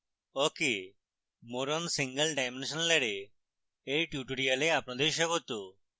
awk এ more on single dimensional array এর tutorial আপনাদের স্বাগত